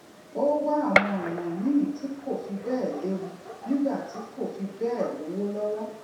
ó wá àwọn ònà míì tí kò fi béè léwu nígbà tí kò fi béè lówó lówó